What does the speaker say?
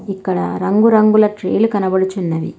ఇక్కడ రంగురంగుల ట్రీ లు కనబడుచున్నవి.